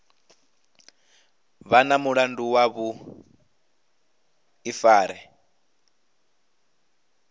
vha na mulandu wa vhuḓifari